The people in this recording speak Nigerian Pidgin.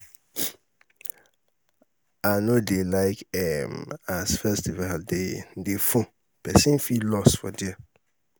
um i no um dey like um as festival dey dey full pesin fit loss for there.